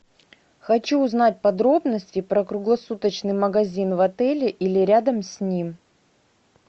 хочу узнать подробности про круглосуточный магазин в отеле или рядом с ним